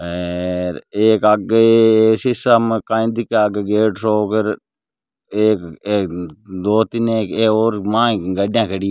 सीसा में कई दिखे आगे गेट सो एक अ अ दो तीन एक और माय गाड़िया खड़ी है।